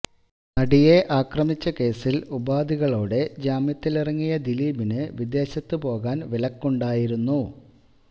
നടിയെ ആക്രമിച്ച കേസില് ഉപാധികളോടെ ജാമ്യത്തിലിറങ്ങിയ ദിലീപിന് വിദേശത്ത് പോകാന് വിലക്കുണ്ടായിരുന്നു